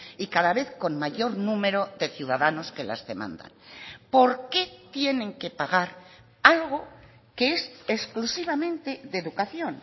y cada vez con mayor número de ciudadanos que las demandan por qué tienen que pagar algo que es exclusivamente de educación